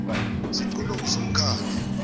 ziquntwa nguso nomkhandlu